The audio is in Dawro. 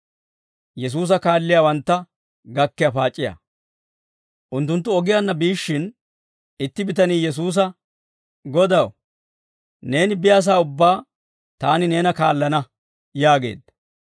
Unttunttu ogiyaanna biishshin, itti bitanii Yesuusa, «Godaw, neeni biyaasaa ubbaa taani neena kaallana» yaageedda.